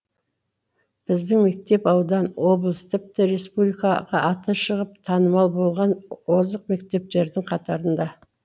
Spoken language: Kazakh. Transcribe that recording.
біздің мектеп аудан облыс тіпті республикаға аты шығып танымал болған озық мектептердің қатарында